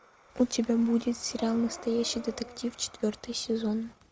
у тебя будет сериал настоящий детектив четвертый сезон